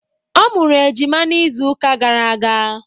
Ọ mụrụ ejima n'izu uka gara aga.